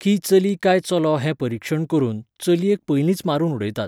की चली काय चलो हें परिक्षण करून, चलयेक पयलींच मारून उडयतात.